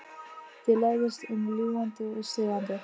Þið læðist um ljúgandi og stelandi.